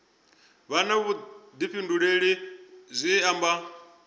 vha na vhuḓifhinduleli zwi amba